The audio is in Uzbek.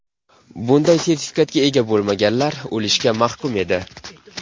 Bunday sertifikatga ega bo‘lmaganlar o‘lishga mahkum edi.